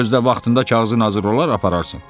Gözdə vaxtında kağızın hazır olar apararsan.